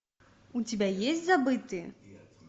у тебя есть забытые